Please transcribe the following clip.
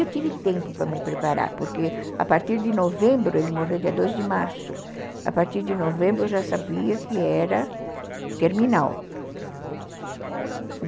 Eu tive tempo para me preparar, porque a partir de novembro, ele morreu dia dia de março, a partir de novembro eu já sabia que era terminal.